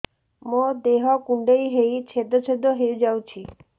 ମୋ ଦେହ କୁଣ୍ଡେଇ ହେଇ ଛେଦ ଛେଦ ହେଇ ଯାଉଛି